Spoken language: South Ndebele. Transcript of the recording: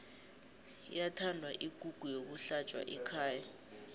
iyathanda ikukhu yokuhlatjwa ekhaya